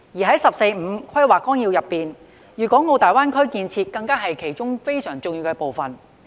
在《十四五規劃綱要》中，粵港澳大灣區建設是非常重要的部分。